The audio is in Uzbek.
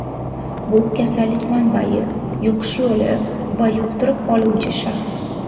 Bu kasallik manbayi, yuqish yo‘li va yuqtirib oluvchi shaxs.